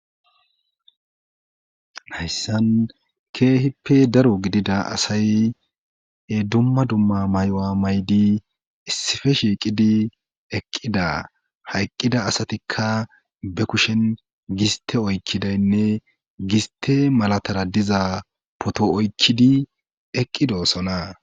hayssan keehippe daro gidida asay e dumma dumma may7oa maydi issife shiiqidi eqqida hayqqida asatikka be kushen giste oykkidaynne giste malatara diza poto oykkidi eqqidoosona